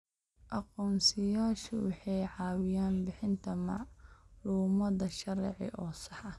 Aqoonsiyeyaashu waxay caawiyaan bixinta macluumaad sharci oo sax ah.